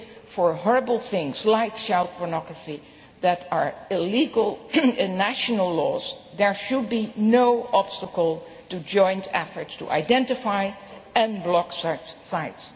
For horrible things like child pornography that are illegal in national laws, there should be no obstacle to joint efforts to identify and block such